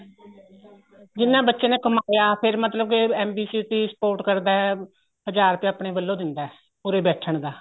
ਜਿੰਨਾ ਬੱਚੇ ਨੇ ਕਮਾਇਆ ਫੇਰ ਮਤਲਬ ਕੇ MB city sport ਕਰਦਾ ਹਜਾਰ ਰੁਪਇਆ ਆਪਣੇ ਵੱਲੋ ਦਿੰਦਾ ਉਰੇ ਬੈਠਣ ਦਾ